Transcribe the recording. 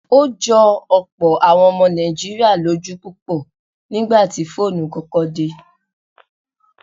Ó jọ ọ̀pọ̀ àwọn ọmọ Nàìjíríà lójú púpọ̀ nígbà tí fóònù kọ́kọ́ dé.